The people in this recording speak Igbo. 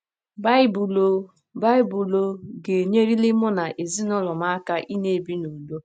Baịbụl Ọ ̀ Baịbụl Ọ ̀ Ga - enyeliri Mụ na Ezinụlọ M Aka Ịna - ebi n’Udo?